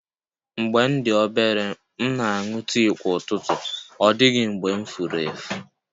Mgbe m dị obere, m na-aṅụ tii kwa ụtụtụ, ọ dịghị mgbe m furu efu